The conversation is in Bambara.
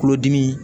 Kulodimi